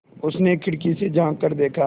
उसने खिड़की से झाँक कर देखा